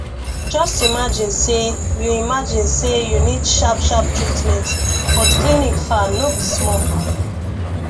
just imagine say you imagine say you need sharp sharp treatment but clinic far no be small